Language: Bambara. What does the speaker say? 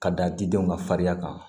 Ka da didenw ka fariya kan